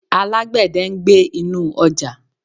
Alágbẹ̀dẹ̀ ń gbẹ́ inú ọjà.